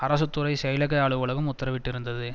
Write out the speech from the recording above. அரசு துறை செயலக அலுவலகம் உத்தரவிட்டிருந்தது